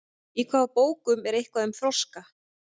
í hvaða bókum er eitthvað um froska